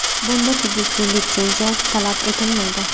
Bunda tegishli litsenziya talab etilmaydi.